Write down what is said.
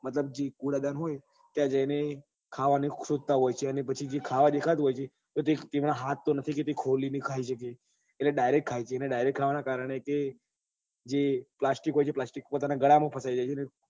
કુદાદન ત્યાં જઈ ને ખાવા નું શોધતા હોય છે અને પછી જે ખાવા નું દેખાતું હોય છે એ તો તેના હાથ તો નથી કે તે ખોલી ને ખાઈ સકે એટલે direct ખાઈ લે છે અને direct નાં કારણે જે જે પ્લાસ્ટિક હોય છે એ પ્લાસ્ટિક તેના ગળા માં ફસાઈ જાય છે ને